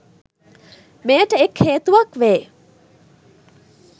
මෙයට එක් හේතුවක් වේ.